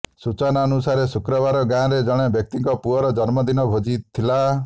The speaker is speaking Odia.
ସୂଚନାନୁସାରେ ଶୁକ୍ରବାର ଗାଁରେ ଜଣେ ବ୍ୟକ୍ତିଙ୍କ ପୁଅର ଜନ୍ମଦିନ ଭୋଜିଥିଲା